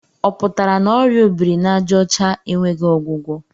Ọ pụtara na ọrịa obiri n'àjà ọcha enweghị ọgwụgwọ?